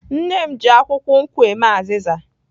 Nne m ji akwukwo nkwu eme azịza.